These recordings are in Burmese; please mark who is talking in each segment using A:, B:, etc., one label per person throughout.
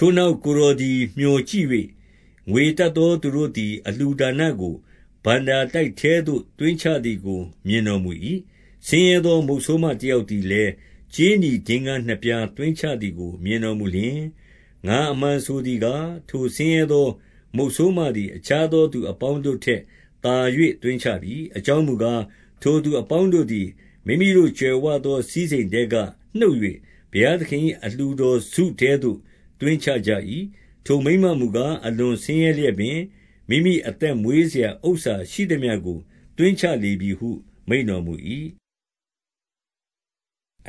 A: ထိုနောက် ကိုယ်တော်သည် မျှော်ကြည့်၍၊ ငွေရတတ်သောသူတို့သည် အလှူဒါနကို ဘဏ္ဍာတိုက် ထဲသို့ သွင်းချသည်ကို မြင်တော်မူ၏။ 2 ဆင်းရဲသော မုတ်ဆိုးမတယောက်သည်လည်း ကြေးနီဒင်္ဂါးနှစ်ပြား သွင်းချသည်ကို မြင်တော်မူလျှင်၊ 3 ငါအမှန်ဆိုသည်ကား၊ ထိုဆင်းရဲသော မုတ်ဆိုးမသည် အခြားသောသူအပေါင်းတို့ထက် သာ၍ သွင်း ချပြီ။ 4 အကြောင်းမူကား၊ ထိုသူအပေါင်းတို့သည် မိမိတို့ကြွယ်ဝသော စည်းစိမ်ထဲကနှုတ်၍ ဘုရားသခင်၏ အလှူတော်စုထဲသို့ သွင်းချကြ၏။ ထိုမိန်းမမူကား၊ အလွန်ဆင်းရဲလျက်ပင် မိမိအသက်မွေးစရာ ဥစ္စာရှိသမျှကို သွင်းချလေပြီဟု မိန့်တော်မူ၏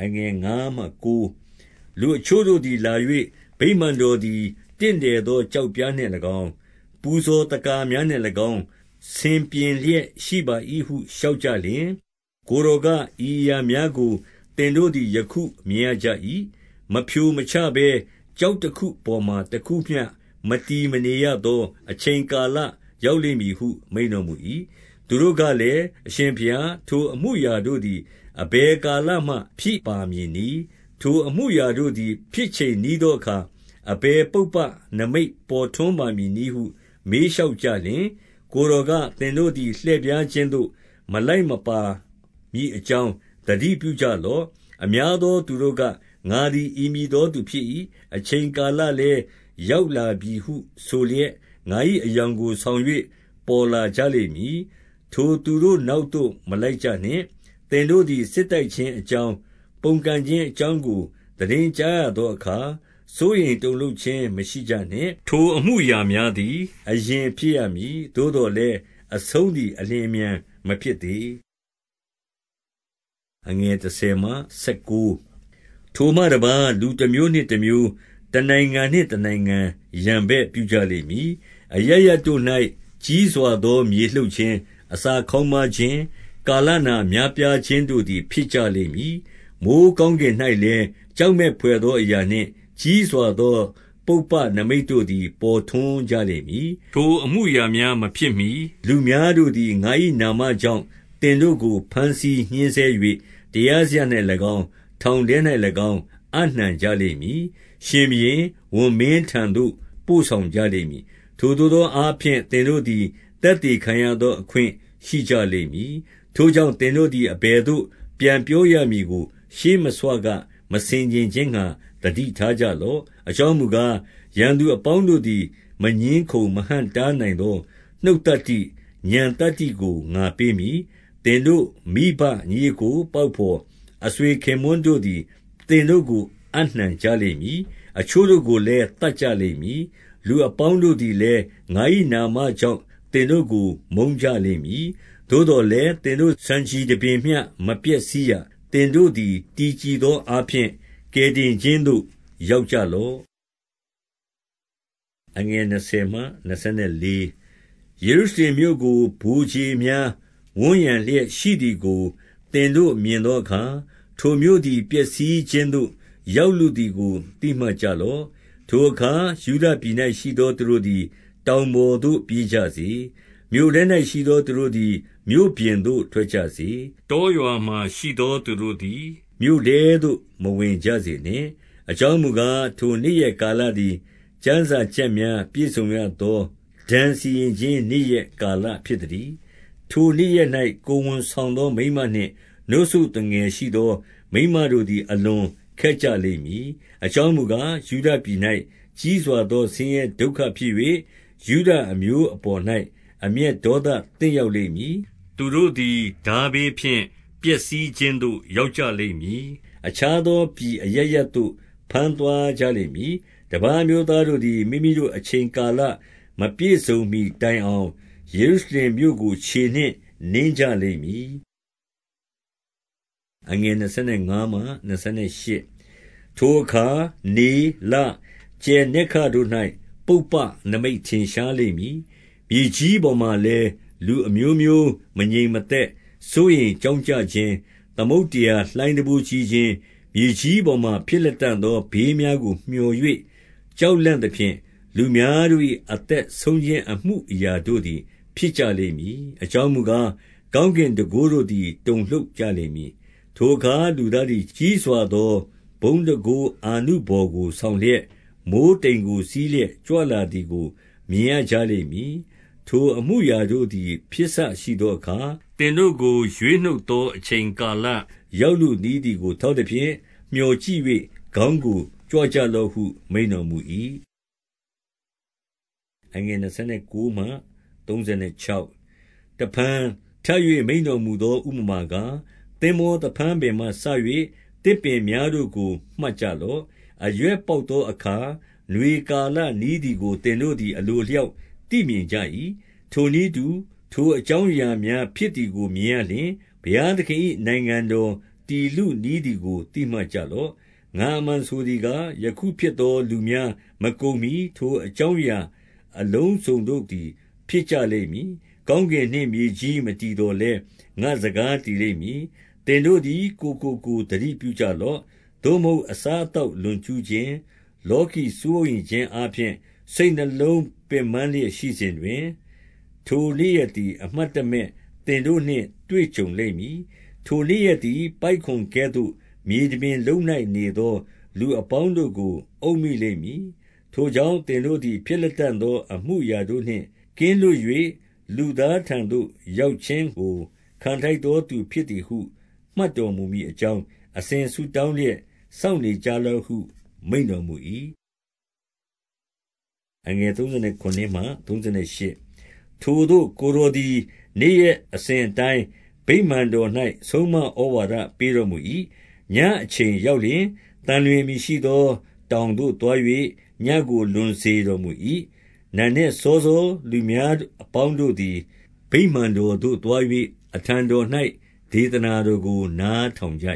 A: ။ 5 လူအချို့တို့သည် လာ၍ ဗိမာန်တော်သည် တင့်တယ်သောကျောက်ပြားနှင့်၎င်း၊ ပူဇော်သက္ကာများ နှင့်၎င်း ဆင်ပြင်လျက် ရှိပါ၏ဟုလျှောက်ကြလျှင်၊ 6 ကိုယ်တော်က၊ ဤအရာများကို သင်တို့သည် ယခုမြင်ရကြ၏။ မဖြိုမချဘဲ ကျောက်တခုပေါ်မှာ တခုမျှ မတည်မနေရသော အချိန်ကာလရောက်လိမ့်မည်ဟု မိန့်တော်မူ၏။ 7 သူတို့ကလည်း၊ အရှင်ဘုရား၊ ထိုအမူအရာတို့သည် အဘယ်ကာလမှဖြစ်ပါမည်နည်း။ ထိုအမှုအရာ တို့သည် ဖြစ်ချိန်နီးသောအခါ အဘယ်ပုပ္ပနိမိတ်ပေါ်ထွန်းပါမည်နည်းဟု မေးလျှောက်ကြလျှင်၊ 8 ကိုယ်တော်က၊ သင်တို့သည် လှည့်ဖြားခြင်းသို့ မလိုက်မပါမည်အကြောင်း သတိပြုကြလော့။ အများ သောသူတို့က၊ ငါသည် ဤမည်သောသူဖြစ်၏။ အချိန်ကာလလည်း ရောက်လာပြီဟုဆိုလျက် ငါ၏အယောင် ကို ဆောင်၍ ပေါ်လာကြလိမ့်မည်။ ထိုသူတို့နောက်သို့ မလိုက်ကြနှင့်။ 9 သင်တို့သည် စစ်တိုက်ခြင်းအကြောင်း၊ ပုန်ကန်ခြင်းအကြောင်းကို သိတင်းကြားရသောအခါ စိုးရိမ်တုန် လှုပ်ခြင်း မရှိကြနှင့်။ ထိုအမှုအရာများသည် အရင်ဖြစ်ရမည်။ သို့သော်လည်း အဆုံးသည် အလျင်အမြန်မဖြစ် သေး။ 10 ထိုမှတပါး၊ လူတမျိုးနှင့်တမျိုး၊ တနိုင်ငံနှင့်တနိုင်ငံ ရန်ဘက်ပြုကြလိမ့်မည်။ 11 အရပ်ရပ်တို့၌ ကြီးစွာသော မြေလှုပ်ခြင်း၊ အစာခေါင်းပါးခြင်း၊ ကာလနာများပြားခြင်းတို့သည် ဖြစ်ကြ လိမ့်မည်။ မိုဃ်းကောင်းကင်၌လည်း ကြောက်မက်ဘွယ်သောအရာနှင့် ကြီးစွာသောပုပ္ပနိမိတ်တို့သည် ပေါ်ထွန်း ကြလိမ့်မည်။ 12 ထိုအမှုအရာများမဖြစ်မှီ လူများတို့သည် ငါ၏နာမကြောင့် သင်တို့ကို ဘမ်းဆီးညှဉ်းဆဲ၍ တရားစရပ်၌ ၎င်း၊ ထောင်ထဲ၌၎င်း အပ်နှံကြလိမ့်မည်။ 13 ထိုသို့သောအားဖြင့် သင်တို့သည် သက်သေခံရသောအခွင့်ရှိကြလိမ့်မည်။ 14 ထိုကြောင့် သင်တို့သည် အဘယ်သို့ပြန်ပြောရမည်ကို ရှေ့မဆွက မဆင်ခြင်ခြင်းငှါ သတိထား ကြလော့။ 15 အကြောင်းမူကား၊ ရန်သူအပေါင်းတို့သည် မငြင်းခုံမဟန့်တားနိုင်သော နှုတ်သတ္တိ၊ ဉာဏ်သတ္တိကို ငါပေးမည်။ 16 သင်တို့မိဘ၊ ညီအစ်ကို၊ ပေါက်ဘော်၊ အဆွေခင်ပွန်းတို့သည် သင်တို့ကို အပ်နှံကြလိမ့်မည်။ အချို့တို့ ကိုလည်း သတ်ကြလိမ့်မည်။ 17 လူအပေါင်းတို့သည်လည်း ငါ၏နာမကြောင့် သင်တို့ကို မုန်းကြလိမ့်မည်။ 18 သို့သော်လည်း သင်တို့ ဆံခြည်တပင်မျှ မပျက်စီးရ။ 19 သင်တို့သည် တည်ကြည်သောအားဖြင့် ကယ်တင်ခြင်းသို့ ရောက်ကြလော့။ 20 ယေရုရှလင်မြို့ကို ဗိုလ်ခြေများ ဝန်းရံလျက်ရှိသည်ကို သင်တို့မြင်သောအခါ၊ ထိုမြို့သည် ပျက်စီးခြင်း သို့ ရောက်လုသည်ကို သိမှတ်ကြလော့။ 21 ထိုအခါ ယုဒပြည်၌ရှိသောသူတို့သည် တောင်ပေါ်သို့ပြေးကြစေ။ မြို့ထဲ၌ရှိသောသူတို့သည် မြို့ပြင်သို့ ထွက်ကြစေ။ တောရွာမှာ ရှိသောသူတို့သည် မြို့ထဲသို့ မဝင်ကြစေနှင့်။ 22 အကြောင်းမူကား၊ ထိုနေ့ရက်ကာလသည် ကျမ်းစာချက်များ ပြည့်စုံရသော ဒဏ်စီရင်ခြင်းနေ့ရက် ကာလဖြစ်သတည်း။ 23 ထိုနေ့ရက်၌ ကိုယ်ဝန်ဆောင်သောမိန်းမနှင့် နို့စို့သူငယ်ရှိသောမိန်းမတို့သည် အလွန်ခက်ကြလိမ့်မည်။ အကြောင်းမူကား၊ ယုဒပြည်၌ ကြီးစွာသော ဆင်းရဲဒုက္ခဖြစ်၍ ယုဒအမျိုးအပေါ်၌ အမျက်ဒေါသသင့်ရောက် လိမ့်မည်။ 24 သူတို့သည် ထားဘေးဖြင့် ပျက်စီးခြင်းသို့ ရောက်ကြလိမ့်မည်။ အခြားသောပြည်အရပ်ရပ်သို့ ဘမ်း သွားကြလိမ့်မည်။ တပါးအမျိုးသားတို့သည် မိမိတို့ အချိန်ကာလမပြည့်စုံမှီတိုင်အောင် ယေရုရှလင်မြို့ကို ခြေနှင့် နင်းကြလိမ့်မည်။ 25 ထိုအခါ၊ နေ၊ လ၊ ကြယ်နက္ခတ်တို့၌ ပုပ္ပနိမိတ်ထင်ရှားလိမ့်မည်။ မြေကြီးပေါ်မှာလည်း လူအမျိုးမျိုး မငြိမ်မသက်စိုးရိမ်ကြောင့်ကြခြင်း၊ သမုဒ္ဒရာလှိုင်းတံပိုးကြီးခြင်း၊ 26 မြေကြီးပေါ်မှာ ဖြစ်လတံ့သော ဘေးများကိုမြော်၍ ကြောက်လန့်သဖြင့်၊ လူများတို့၏ အသက်ဆုံး ခြင်းအမှုအရာတို့သည် ဖြစ်ကြလိမ့်မည်။ အကြောင်းမူကား၊ ကောင်းကင်တန်ခိုးတို့သည် တုန်လှုပ်ကြလိမ့်မည်။ 27 ထိုအခါ လူသားသည် ကြီးစွာသောဘုန်းတန်ခိုးအာနုဘော်ကို ဆောင်လျက်၊ မိုဃ်းတိမ်ကို စီးလျက် ကြွ လာသည်ကို မြင်ရကြလိမ့်မည်။ 28 ထိုအမှုအရာတို့သည် ဖြစ်စရှိသောအခါ၊ သင်တို့ကို ရွေးနှုတ်သောအချိန်ကာလရောက်လုနီးသည်ကို ထောက်သဖြင့်၊ မြော်ကြည့်၍ ခေါင်းကိုကြွကြလော့ဟု မိန့်တော်မူ၏။ 29 တဖန် ထပ်၍ မိန့်တော်မူသော ဥပမာကား၊ သင်္ဘောသဖန်းပင်မှစ၍ သစ်ပင်များကို မှတ်ကြလော့။ 30 အရွက်ပေါက်သောအခါ နွေကာလနီးသည်ကို သင်တို့သည် အလိုအလျောက်သိမြင်ကြ၏။ 31 ထိုနည်းတူ ထိုအကြောင်းအရာများဖြစ်သည်ကို မြင်ရလျှင်၊ ဘုရားသခင်၏နိုင်ငံတော် တည်လုနီးသည် ကို သိမှတ်ကြလော့။ 32 ငါအမှန်ဆိုသည်ကား၊ ယခုဖြစ်သောလူများ မကုန်မှီ ထိုအကြောင်းအရာအလုံးစုံတို့သည် ဖြစ်ကြလိမ့် မည်။ 33 ကောင်းကင်နှင့်မြေကြီး မတည်သော်လည်း ငါ့စကား တည်လိမ့်မည်။ 34 သင်တို့သည် ကိုယ်ကိုကိုယ်သတိပြုကြလော့။ သို့မဟုတ် အစားအသောက်လွန်ကြူးခြင်း၊ လောကီ စိုးရိမ်ခြင်းအားဖြင့် စိတ်နှလုံးပင်ပန်းလျက်နေစဉ်၊ ထိုနေ့ရက်သည် အမှတ်တမဲ့သင်တို့နှင့် တွေ့ကြုံလိမ့်မည်။ 35 ထိုနေ့ရက်သည် ပိုက်ကွန်ကဲ့သို မြေတပြင်လုံး၌နေသော လူအပေါင်းတို့ကို အုပ်မိလိမ့်မည်။ 36 ထို့ကြောင့် သင်တို့သည် ဖြစ်လတံ့သော အမှုအရာတို့နှင့် ကင်းလွတ်၍ လူသားထံသို့ ရောက်ခြင်းကို ခံထိုက်သောသူဖြစ်သည်ဟု မှတ်တော်မူမည်အကြောင်း၊ အစဉ်ဆုတောင်းလျက် စောင့်နေကြလော့ဟု မိန့်တော် မူ၏။ 37 ထိုသို့ ကိုယ်တော်သည် နေ့ရက်အစဉ်အတိုင်းဗိမာန်တော်၌ ဆုံးမဩဝါဒပေးတော်မူ၏။ ညအချိန် ရောက်လျှင် သံလွင်အမည်ရှိသော တောင်သို့ သွား၍ ညဉ့်ကို လွန်စေတော်မူ၏။ 38 နံနက်စောစော လူများအပေါင်းတို့သည် ဗိမာန်တော်သို့သွား၍ အထံတော်၌ ဒေသနာတော်ကို နား ထောင်ကြ